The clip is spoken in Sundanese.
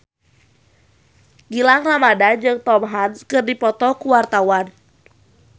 Gilang Ramadan jeung Tom Hanks keur dipoto ku wartawan